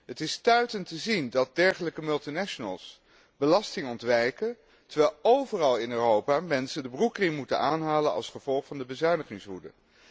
Het is stuitend te zien dat dergelijke multinationals belasting ontwijken, terwijl overal in Europa mensen de broekriem moeten aanhalen als gevolg van de bezuinigingswoede.